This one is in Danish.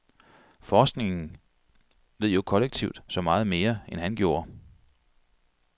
Forskningen ved jo kollektivt så meget mere, end han gjorde.